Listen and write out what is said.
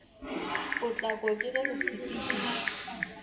potlako ke ge go sepedišwa